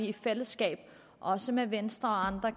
i fællesskab også med venstre og andre